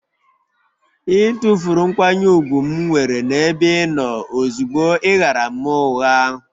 Ị tụfuru nkwanye ùgwù m nwere n'ebe ị nọ ozugbo ị ghaara m ụgha